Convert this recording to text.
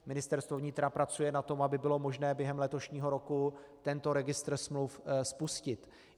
Ministerstvo vnitra pracuje na tom, aby bylo možné během letošního roku tento registr smluv spustit.